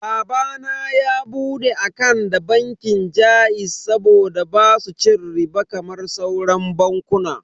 Baba na ya bude akant da bankin jaiz saboda basu cin riɓa kamar sauran bankunan.